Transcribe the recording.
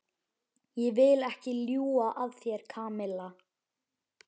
Ég vil ekki ljúga að þér, Kamilla.